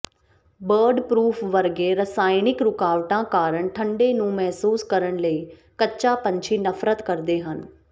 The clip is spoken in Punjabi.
ਬਰਡਪ੍ਰੌਫ ਵਰਗੇ ਰਸਾਇਣਕ ਰੁਕਾਵਟਾਂ ਕਾਰਨ ਠੰਡੇ ਨੂੰ ਮਹਿਸੂਸ ਕਰਨ ਲਈ ਕੱਚਾ ਪੰਛੀ ਨਫ਼ਰਤ ਕਰਦੇ ਹਨ